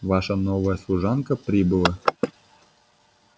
ваша новая служанка прибыла